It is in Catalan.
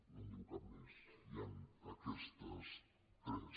no en diu cap més hi han aquestes tres